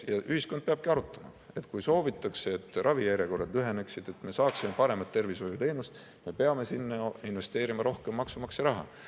Ühiskond peab arutama, et kui soovitakse, et ravijärjekorrad lüheneksid, et me saaksime paremat tervishoiuteenust, siis me peame sinna investeerima rohkem maksumaksja raha.